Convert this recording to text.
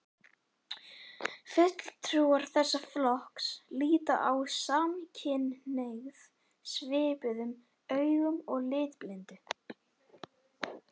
Fulltrúar þessa flokks líta á samkynhneigð svipuðum augum og litblindu.